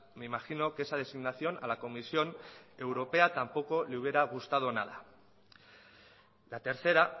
me imagino que esa designación a la comisión europea tampoco le hubiera gustado nada la tercera